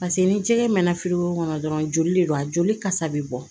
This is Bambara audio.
Paseke ni jɛgɛ mɛna firigo kɔnɔ dɔrɔn joli de don a joli kasa bɛ bɔ